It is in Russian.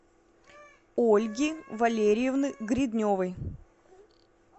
ольги валерьевны гридневой